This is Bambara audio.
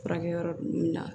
Furakɛ yɔrɔ ninnu na